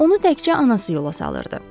Onu təkcə anası yola salırdı.